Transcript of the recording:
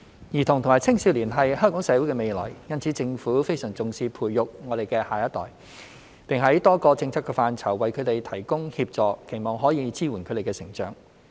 兒童和青少年是香港社會的未來，所以政府非常重視培育我們的下一代，並在多個政策範疇為他們提供協助，期望可以支援他們的成長。